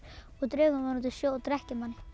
og dregur mann út í sjó og drekkir manni